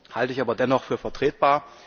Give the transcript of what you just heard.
Das halte ich aber dennoch für vertretbar.